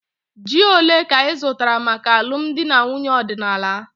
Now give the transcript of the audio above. Ji ole ka ị zụtara maka alụmdi na nwunye ọdịnala?